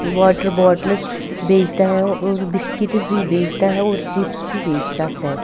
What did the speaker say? Water bottles बेचता है और बिस्किटस भी बेचता है और चिप्स भी बेचता है।